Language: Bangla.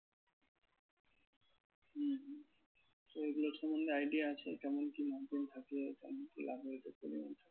তো এগুলো সম্বন্ধে idea আছে কেমন কি margin থাকে কেমন কি ?